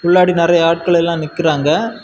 பிள்ளாடி நறைய ஆட்கள் எல்லா நிக்கிறாங்க.